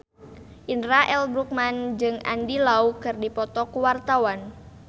Indra L. Bruggman jeung Andy Lau keur dipoto ku wartawan